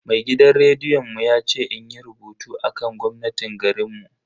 Mai gidan rediyon mu ya ce inyi rubutu akan gwamnatin garinmu.